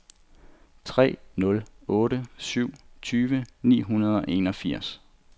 tre nul otte syv tyve ni hundrede og enogfirs